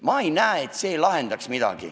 Ma ei näe, et see midagi lahendaks.